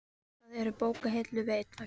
Það eru bókahillur við einn vegginn.